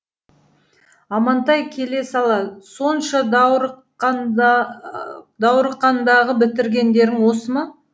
амантай келе сала сонша даурыққандағы бітіргендерің осы ма